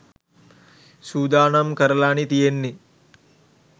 සූදානම් කරලානේ තියෙන්නේ.